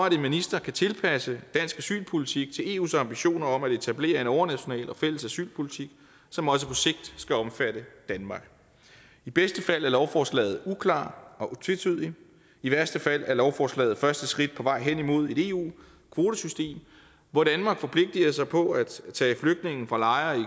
at en minister kan tilpasse dansk asylpolitik til eus ambitioner om at etablere en overnational og fælles asylpolitik som også på sigt skal omfatte danmark i bedste fald er lovforslaget uklart og tvetydigt i værste fald er lovforslaget første skridt på vej hen imod et eu kvotesystem hvor danmark forpligter sig på at tage flygtninge fra lejre